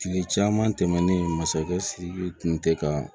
Kile caman tɛmɛnen masakɛ sidiki tun tɛ ka